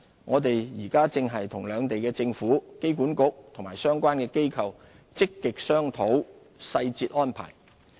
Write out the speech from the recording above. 我們現正與兩地政府、機管局及相關機構積極商討細節安排。